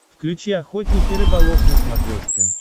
включи охотник и рыболов на смотрешке